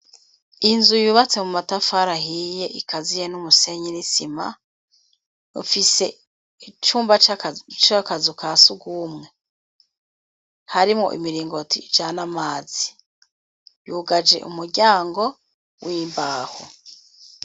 Inzu ibibatse mu matafara ahiye ikaziye n'umusenye n'isima, ufise icumba c'akazuka sugumwe, harimwo imiringo ijane amazi yugaje umuryango wimbaho.